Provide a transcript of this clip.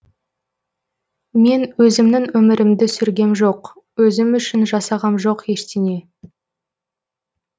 мен өзімнің өмірімді сүргем жоқ өзім үшін жасағам жоқ ештеңе